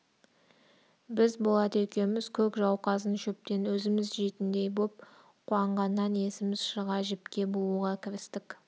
біз болат екеуміз көк жауқазын шөптен өзіміз жейтіндей боп қуанғаннан есіміз шыға жіпке бууға кірістік